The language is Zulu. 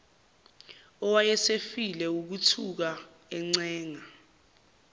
owayesefile wukuthuka encenga